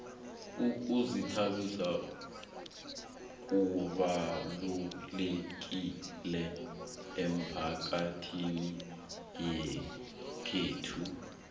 ukuzithabisa kubalukile emphakathini yekhethu